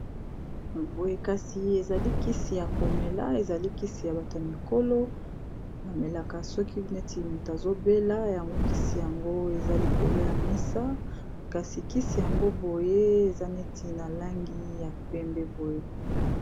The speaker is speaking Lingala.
Boye kasi, ezali kisi ya komela. Ezali kisi ya bato mikolo bamelaka soki neti moto azobela. Yango kisi yango eza likolo ya mesa. Kasi kisi yango boye, eza neti na langi ya pembe boye.